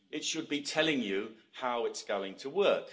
it should be telling you how it's going to work.